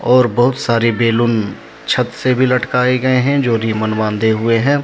और बहुत सारे बैलून छत से भी लटकाए गए हैं जो रिबन बंधे हुए है।